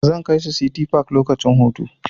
Zan kai su City park lokacin hutu.